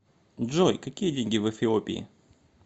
джой какие деньги в эфиопии